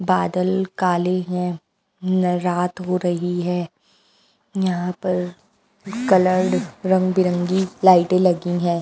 बादल काले हैं ल रात हो रही है यहाँ पर कलर्ड रंगंबिरंगी लाइटें लगी हैं।